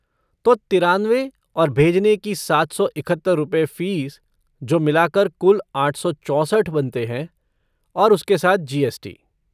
तो तिरानवे और भेजने की सात सौ इकहत्तर रुपए फ़ीस जो मिलाकर कुल 864 बनते हैं, और उसके साथ जी एस टी ।